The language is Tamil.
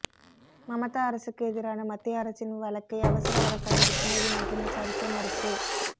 மமதா அரசுக்கு எதிரான மத்திய அரசின் வழக்கை அவசர வழக்காக உச்சநீதிமன்றம் விசாரிக்க மறுப்பு